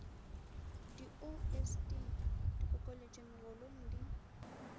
di osd dikokeletšo megolong di